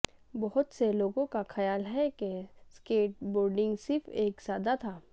بہت سے لوگوں کا خیال ہے کہ سکیٹ بورڈنگ صرف ایک سادا تھا